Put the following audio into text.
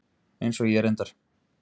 Eins og ég reyndar.